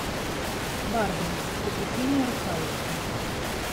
барби приключения русалочки